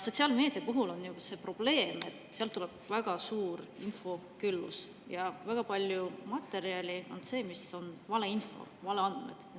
Sotsiaalmeediaga on see probleem, et seal on infoküllus ja väga palju on seal valeinfot, valeandmeid.